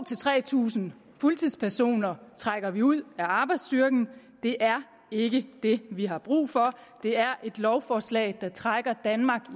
tre tusind fuldtidspersoner trækker vi ud af arbejdsstyrken det er ikke det vi har brug for det er et lovforslag der trækker danmark